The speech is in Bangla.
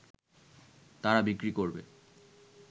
তারা বিক্রি করবে